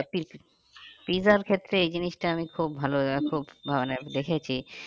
পিৎজার ক্ষেত্রে এই জিনিসটা আমি খুব ভালো আর খুব মানে দেখেছি